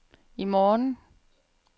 i morgen